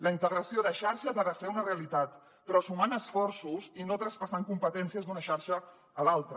la integració de xarxes ha de ser una realitat però sumant esforços i no traspassant competències d’una xarxa a l’altra